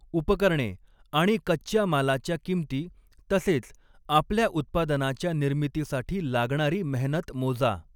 उपकरणे आणि कच्च्या मालाच्या किंमती तसेच आपल्या उत्पादनाच्या निर्मितीसाठी लागणारी मेहनत मोजा.